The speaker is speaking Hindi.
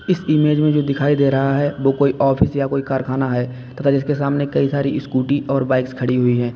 इस इमेज में जो दिखाई दे रहा है वह कोई ऑफिस या कोई कारखाना है। तथा जिसके सामने कई सारी स्कूटी और बाइक्स खड़ी हुई है।